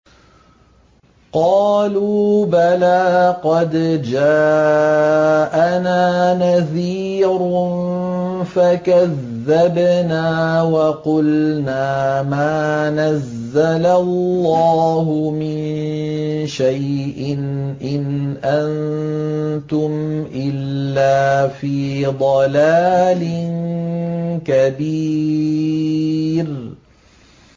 قَالُوا بَلَىٰ قَدْ جَاءَنَا نَذِيرٌ فَكَذَّبْنَا وَقُلْنَا مَا نَزَّلَ اللَّهُ مِن شَيْءٍ إِنْ أَنتُمْ إِلَّا فِي ضَلَالٍ كَبِيرٍ